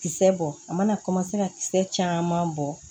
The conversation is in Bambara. Kisɛ bɔ a mana ka kisɛ caman bɔ